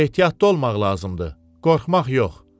Ehtiyatlı olmaq lazımdır, qorxmaq yox.